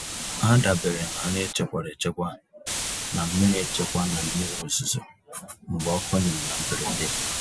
Ha dabeere na nri e chekwara echekwa na mmiri echekwa na mmiri ozuzo mgbe ọkụ nyụrụ na mberede.